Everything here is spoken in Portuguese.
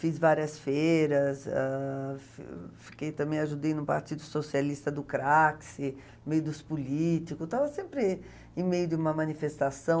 Fiz várias feiras, Ah... fi fiquei, também ajudei no Partido Socialista do Craxi, no meio dos políticos, estava sempre em meio de uma manifestação.